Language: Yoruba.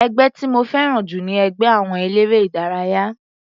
Ẹgbẹ́ tí mo fẹ́ràn jù ni ẹgbẹ́ àwọn eléré ìdárayá.